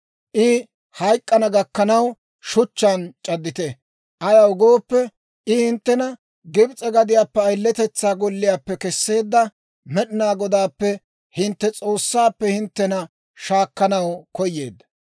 I hayk'k'ana gakkanaw, shuchchaan c'addite; ayaw gooppe, I hinttena Gibs'e gadiyaappe, ayiletetsaa golliyaappe kesseedda Med'inaa Godaappe, hintte S'oossaappe, hinttena shaakkanaw koyeedda.